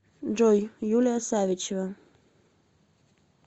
джой юлия савичева